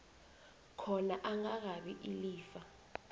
khona angakabi ilifa